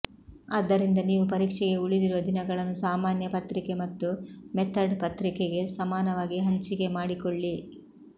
ಆದ್ದರಿಂದ ನೀವು ಪರೀಕ್ಷೆಗೆ ಉಳಿದಿರುವ ದಿನಗಳನ್ನು ಸಾಮಾನ್ಯ ಪತ್ರಿಕೆ ಮತ್ತು ಮೆಥಡ್ ಪತ್ರಿಕೆಗೆ ಸಮಾನವಾಗಿ ಹಂಚಿಕೆ ಮಾಡಿಕೊಳ್ಳಿ